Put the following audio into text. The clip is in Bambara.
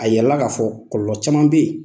A yirala k'a fɔ kɔlɔlɔ caman bɛ yen.